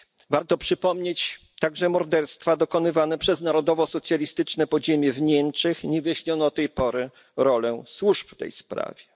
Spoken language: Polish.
Warto przypomnieć także morderstwa dokonywane przez narodowosocjalistyczne podziemie w Niemczech i niewyjaśnioną do tej pory rolę służb w tej sprawie.